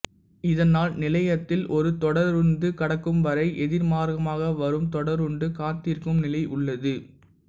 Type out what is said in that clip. இதனால் நிலையத்தில் ஒரு தொடருந்து கடக்கும்வரை எதிர்மார்க்கமாக வரும் தொடருந்து காத்திருக்கும் நிலை உள்ளது